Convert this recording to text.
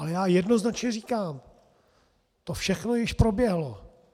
Ale já jednoznačně říkám - to všechno již proběhlo.